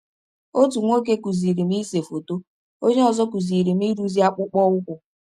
Ọtụ nwọke kụziiri m ise fọtọ, onye ọzọ kụziri m ịrụzi akpụkpọ ụkwụ.